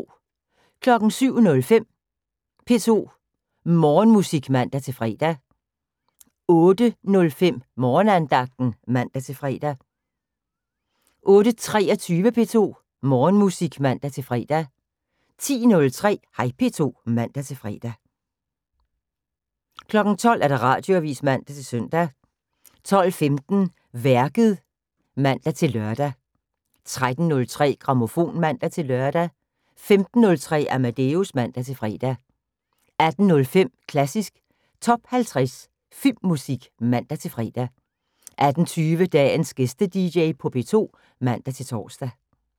07:05: P2 Morgenmusik (man-fre) 08:05: Morgenandagten (man-fre) 08:23: P2 Morgenmusik (man-fre) 10:03: Hej P2 (man-fre) 12:00: Radioavis (man-søn) 12:15: Værket (man-lør) 13:03: Grammofon (man-lør) 15:03: Amadeus (man-fre) 18:05: Klassisk Top 50 Filmmusik (man-fre) 18:20: Dagens GæsteDJ på P2 (man-tor)